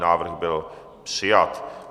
Návrh byl přijat.